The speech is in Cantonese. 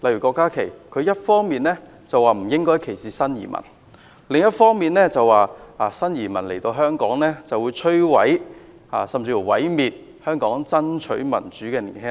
郭家麒議員一方面說不應該歧視新移民，另一方面卻表示新移民來到香港，便會毀滅香港爭取民主的年輕一代。